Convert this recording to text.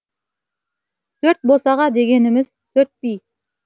төрт босаға дегеніміз төрт би